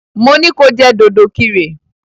Mo ní ko jẹ́ dòdòkirè!